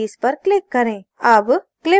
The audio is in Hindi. अब clip released होती है